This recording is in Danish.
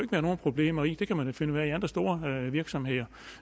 være nogen problemer i det kan man da finde ud af i andre store virksomheder og